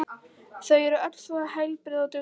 Þau eru öll svo heilbrigð og dugleg.